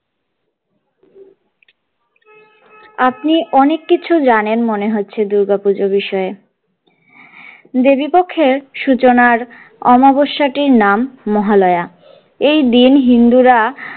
আপনি অনেক কিছু জানেন মনে হচ্ছে দূর্গা পূজো বিষয়ে দেবীপক্ষের সূচনার আমাবস্যাটির নাম মহালয়া এই দিন হিন্দুরা।